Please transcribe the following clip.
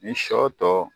Ni sɔ tɔ